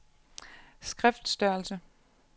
skriftstørrelse